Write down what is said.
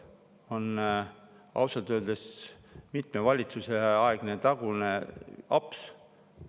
See on ausalt öeldes mitme valitsuse tagune aps.